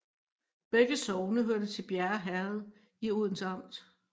Begge sogne hørte til Bjerge Herred i Odense Amt